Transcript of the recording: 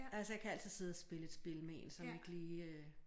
Altså jeg kan altid sidde og spille et spil med en som ikke lige øh